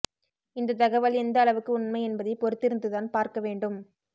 இந்த தகவல் எந்த அளவுக்கு உண்மை என்பதை பொறுத்திருந்துதான் பார்க்க வேண்டும்